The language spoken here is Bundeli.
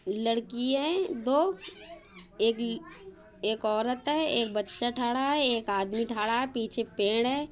लड़की है दो एक एक औरत है एक बच्चा ठाड़ा है एक आदमी ठाड़ा है पीछे पेड़ है।